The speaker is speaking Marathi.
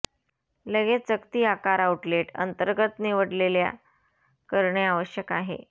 लगेच चकती आकार आउटलेट अंतर्गत निवडलेल्या करणे आवश्यक आहे